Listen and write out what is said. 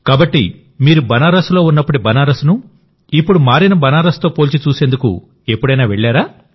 కాబట్టి మీరు బనారస్లో ఉన్నప్పటి బనారస్ ను ఇప్పుడు మారిన బనారస్ తో పోల్చి చూసేందుకు ఎప్పుడైనా వెళ్లారా